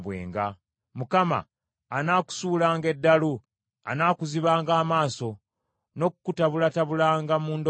Mukama anaakusuulanga eddalu, anaakuzibanga amaaso, n’okukutabulatabulanga mu ndowooza yo.